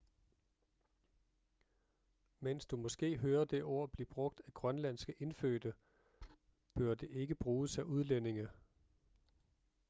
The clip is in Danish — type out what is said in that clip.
mens du måske hører det ord blive brugt af grønlandske indfødte bør det ikke bruges af udlændinge